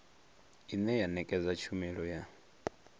ine ya ṋekedza tshumelo ya